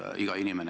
Härra Ratas!